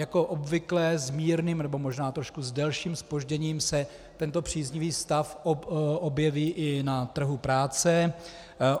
Jako obvykle s mírným, nebo možná s trošku delším zpožděním se tento příznivý stav objeví i na trhu práce.